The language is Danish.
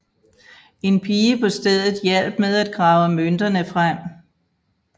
En pige på stedet hjalp med at grave mønterne frem